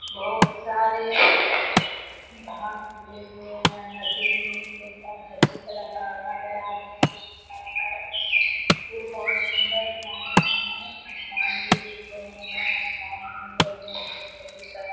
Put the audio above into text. बहुत सारे घांस उगे हुए हैं। नदी में नीचे का घर दिख रहा है आदमी दिख रहा है पूल बहुत सुंदर बनाया गया है। आसमान भी दिख रहे हैं। आसमान में दिख रहा --